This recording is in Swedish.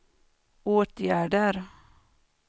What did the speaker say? åtgärder